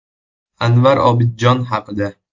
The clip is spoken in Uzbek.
Anvar Obidjon haqida.